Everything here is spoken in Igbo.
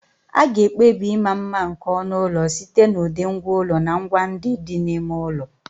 A ga-ekpebi ịma mma nke onu ụlọ site n'ụdị ngwá ụlọ na ngwa ndị dị n'ime ụlọ.